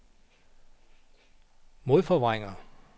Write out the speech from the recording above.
modforvrænger